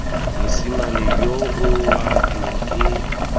mosimane yoo wa teng ke